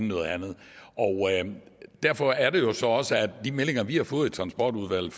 noget andet derfor er det jo så også at de meldinger vi har fået i transportudvalget